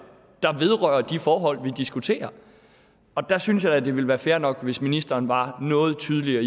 der vedrører de forhold vi diskuterer der synes jeg da det ville være fair nok hvis ministeren var noget tydeligere